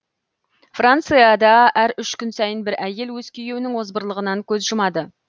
францияда әр үш күн сайын бір әйел өз күйеуінің озбырлығынан көз жұмады